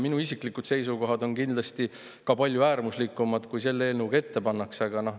Minu isiklikud seisukohad on kindlasti palju äärmuslikumad kui see, mis selles eelnõus ette pannakse.